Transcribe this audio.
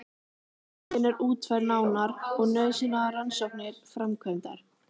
Hugmyndin er útfærð nánar og nauðsynlegar rannsóknir framkvæmdar.